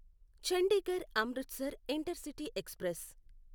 Chandigarh Amritsar intercity express